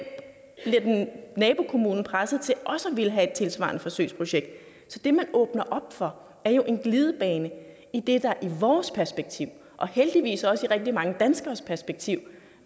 nabokommunen presset til også at ville have et tilsvarende forsøgsprojekt så det man åbner op for er jo en glidebane i det der i vores perspektiv og heldigvis også i rigtig mange danskeres perspektiv